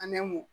An bɛ mun